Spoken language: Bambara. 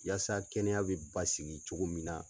Yasa kɛnɛya bɛ basigi cogo min na.